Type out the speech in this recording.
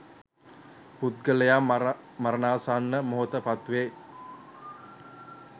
පුද්ගලයා මරණාසන්න මොහතට පත්වේ